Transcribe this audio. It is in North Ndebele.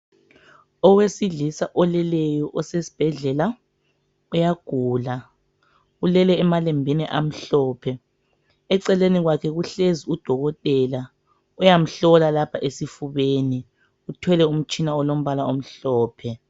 Owesilisa oleleyo osesibhedlela, uyagula ulele emalembini amhlophe. Eceleni kwakhe kuhlezi udokotela, uyamhlola lapha esifubeni uthwele umtshina olombala omhlophe.